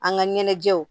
An ka ɲɛnajɛw